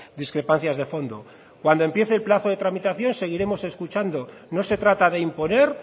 discrepancias de fondo cuando empiece el plazo de tramitación seguiremos escuchando no se trata de imponer